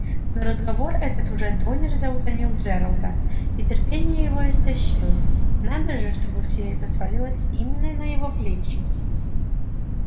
но разговор этот уже донельзя утомил джералда и терпение его истощилось надо же чтобы все это свалилось именно на его плечи